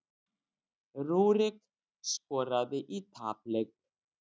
Rúrik skoraði í tapleik